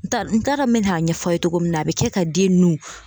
N t'a dɔn n t'a dɔn n mena ɲɛf'a ye cogo min na a be kɛ ka den nun